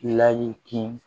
Layi kun